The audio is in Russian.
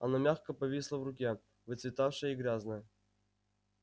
она мягко повисла в руке выцветавшая и грязная